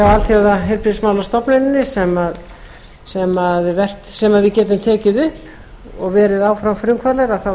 alþjóðaheilbrigðismálastofnuninni sem við getum tekið upp og verið áfram frumkvöðlar tel